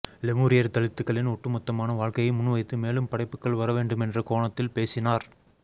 லெமூரியர் தலித்துக்களின் ஒட்டுமொத்தமான வாழ்க்கையை முன்வைத்து மேலும் படைப்புக்கள் வரவேண்டுமென்ற கோணத்தில் பேசினார்